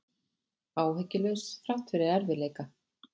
Áhyggjulaus þrátt fyrir erfiðleika